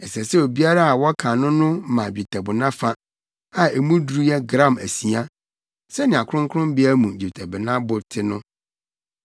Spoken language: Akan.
Ɛsɛ sɛ obiara a wɔkan no no ma dwetɛbona fa, a emu duru yɛ gram asia (sɛnea kronkronbea mu dwetɛbona bo te no.)